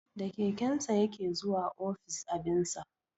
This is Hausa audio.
Da kekensa ya ke zuwa office abinsa